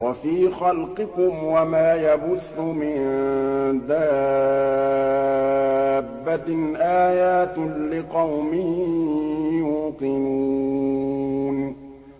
وَفِي خَلْقِكُمْ وَمَا يَبُثُّ مِن دَابَّةٍ آيَاتٌ لِّقَوْمٍ يُوقِنُونَ